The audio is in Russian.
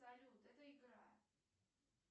салют это игра